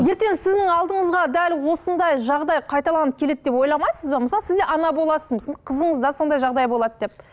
ертең сіздің алдыңызға дәл осындай жағдай қайталанып келеді деп ойламайсыз ба мысалы сіз де ана боласыз қызыңызда сондай жағдай болады деп